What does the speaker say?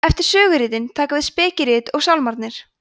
eftir söguritin taka við spekirit og sálmarnir